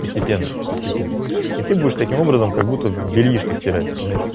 постепенно постепенно и ты будешь таким образом как будто бельишко стирать знаешь